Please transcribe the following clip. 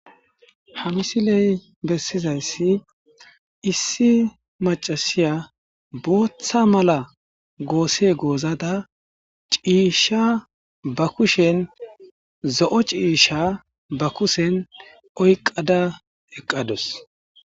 ha misiley bessizayssi issi macasiya booththa mala goose goozada ciisha ba kushen zo7o ciisha ba kushen oyqada eqqados